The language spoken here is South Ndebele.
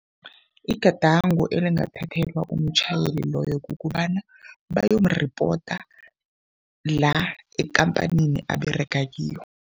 Igadango elingathathelwa umtjhayeli loyo kukobana bayomuripota la ekhamphanini aberega kiyo.